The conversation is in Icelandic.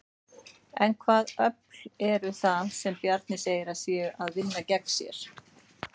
En hvaða öfl eru það sem Bjarni segir að séu að vinna gegn sér?